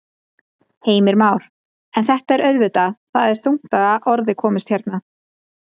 Heimir Már: En þetta er auðvitað, það er þungt að orði komist hérna?